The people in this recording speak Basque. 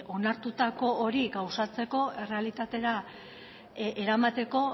onartutako hori gauzatzeko errealitatera eramateko